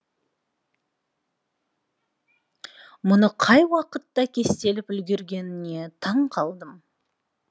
мұны қай уақытта кестелеп үлгергеніне таңқалдым